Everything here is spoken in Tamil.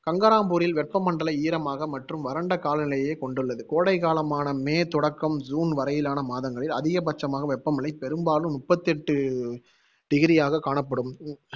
கங்கராம்பூரில் வெப்பமண்டல ஈரமாக மற்றும் வறண்ட காலநிலையைக் கொண்டுள்ளது. கோடைக் காலமான மே தொடக்கம் ஜுன் வரையிலான மாதங்களில் அதிகபட்சமாக வெப்பநிலை பெரும்பாலும் முப்பத்தி எட்டு degree ஆக காணப்படும்